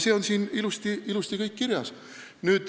See kõik on siin ilusti kirjas.